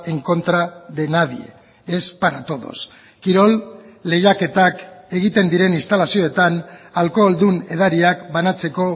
en contra de nadie es para todos kirol lehiaketak egiten diren instalazioetan alkoholdun edariak banatzeko